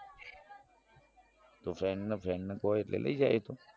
તો friend friend ને કો એટલે લઇ જાય એતો